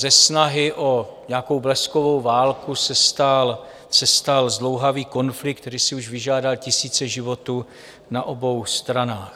Ze snahy o nějakou bleskovou válku se stal zdlouhavý konflikt, který si už vyžádal tisíce životů na obou stranách.